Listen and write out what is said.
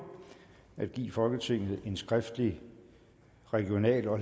at give folketinget en skriftlig regional og